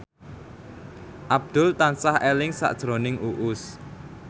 Abdul tansah eling sakjroning Uus